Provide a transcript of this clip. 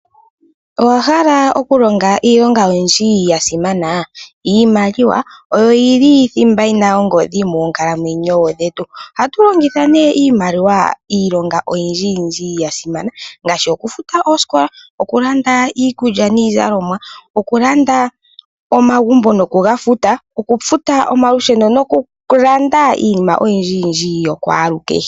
Owa hala okulonga iilonga oyindji ya simana? Iimaliwa oyo yi li thimba yina ongodhi moonkalamweyo dhetu, ohatu longitha nee iimaliwa iilonga oyindji yindji ya simana, ngaashi okufuta oosikola, okulanda iikulya niizalomwa. Okulanda omagumbo nokuga futa, nokufuta omalusheno nokulanda iinima oyindji yindji yokwalukehe.